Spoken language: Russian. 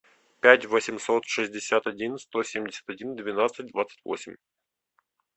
пять восемьсот шестьдесят один сто семьдесят один двенадцать двадцать восемь